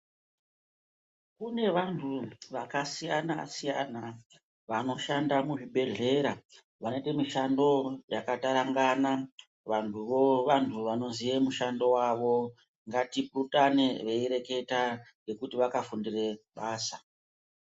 Kune vantu vakasiyana siyana vanoshanda muzvibhedhlera vanoite mishando yakatarangana. Vantuvo vantu vanoziye mushando wavo. Ngatipurutane veireketa ngekuti vakafundire basa.